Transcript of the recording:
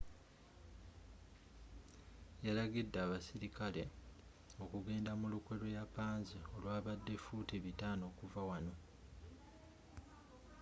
yalagidde abasirikale okugenda mu lukwe lw'eyapanze olwabadde fuuti 500 okuva wano